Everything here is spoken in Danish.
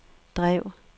drev